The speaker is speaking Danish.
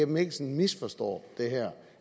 mikkelsen misforstår det her